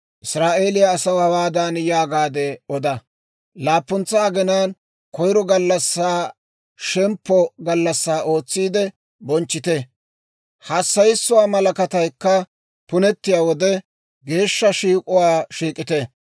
«Israa'eeliyaa asaw hawaadan yaagaade oda; ‹Laappuntsa aginaan koyiro gallassaa shemppo gallassaa ootsiide bonchchite; hassayissuwaa malakataykka punettiyaa wode, geeshsha shiik'uwaa shiik'ite.